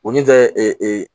O min tɛ e